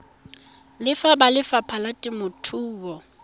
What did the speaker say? le ba lefapha la temothuo